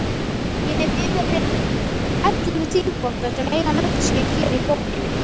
Ég hef yfirheyrt ellefu þingvotta sem eiga nöfn sín hér í bókinni.